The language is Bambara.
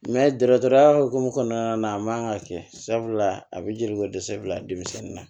dɔgɔtɔrɔya hukumu kɔnɔna na a man kan ka kɛ sabula a bɛ jeliko dɛsɛ bila denmisɛnnin na